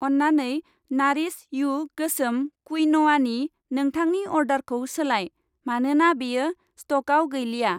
अन्नानै नारिश यु गोसोम क्विन'आनि नोंथांनि अर्डारखौ सोलाय, मानोना बेयो स्टकआव गैलिया।